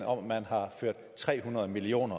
over at man har ført tre hundrede million